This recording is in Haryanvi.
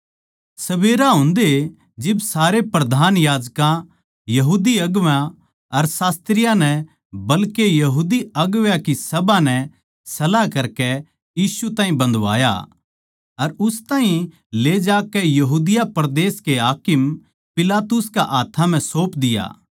सबेरा होंदए जिब्बे सारे प्रधान याजकां यहूदी अगुवां अर शास्त्रियाँ नै बल्के सारी बड्डी सभा नै सलाह करकै यीशु ताहीं बंधवाया अर उस ताहीं ले जाकै यहूदिया परदेस के हाकिम पिलातुस कै हाथ्थां म्ह सौप दिया